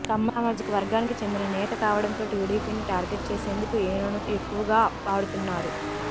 కమ్మ సామాజిక వర్గానికి చెందిన నేత కావడంతో టీడీపీని టార్గెట్ చేసేందుకు ఈయనను ఎక్కువగా వాడుతున్నారు